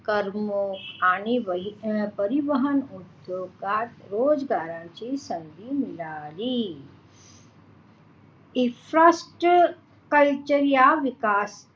कर्म आणि परिवहन उद्योगात रोजगारांची संधी मिळाली infra culture या विकास